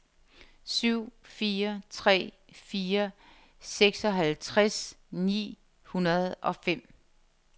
syv fire tre fire seksoghalvtreds ni hundrede og fem